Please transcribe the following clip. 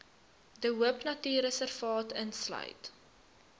de hoopnatuurreservaat insluit